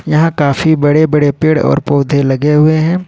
यहां काफी बड़े बड़े पेड़ और पौधे लगे हुए हैं।